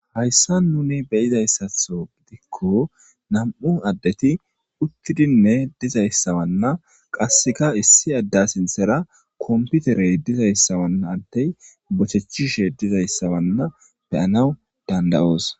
Haysan nuni beyizaysatho gidikon nam'u adeti utidinne dizaysa Wana qaseka issi ada sinthara computerey dizaysa Wana adeyi bochechishe dizaysa Wana beyanawu danda'osi .